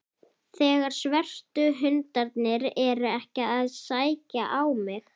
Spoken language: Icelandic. Þegar svörtu hundarnir eru ekki að sækja á mig.